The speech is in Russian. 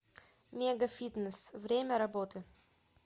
мегафитнесс время работы